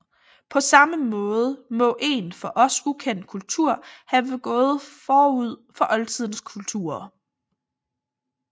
På samme måde må en for os ukendt kultur have gået forud for oldtidens kulturer